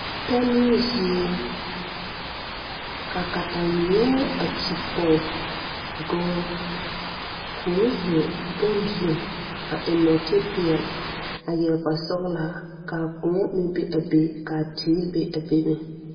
Pɛnoo zie ka kataweɛ a kyigpɔge dɔɔ koo zeŋ bon zu a eŋ nɔɔte peɛle a yɛre kparesɔglaa kaa kõɔ meŋ be a be kaa teere be a be meŋ.